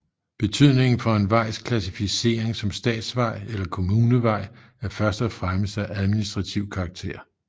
Betydningen for en vejs klassificering som statsvej eller kommunevej er først og fremmest af administrativ karakter